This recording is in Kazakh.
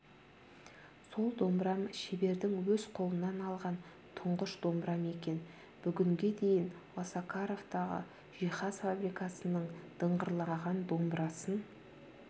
сол домбырам шебердің өз қолынан алған тұңғыш домбырам екен бүгінге дейін осакаровтағы жиһаз фабрикасының дыңғырлаған домбырасын